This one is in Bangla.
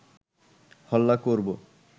হল্লা করব